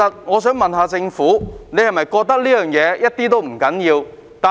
我想問政府是否認為這事一點也不重要？